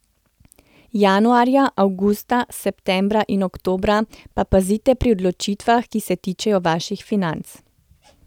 Januarja, avgusta, septembra in oktobra pa pazite pri odločitvah, ki se tičejo vaših financ.